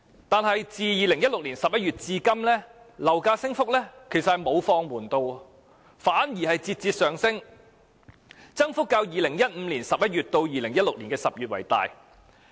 但是，自2016年11月至今，樓價升幅沒有放緩，反而節節上升，其間增幅較2015年11月至2016年10月的增幅更大。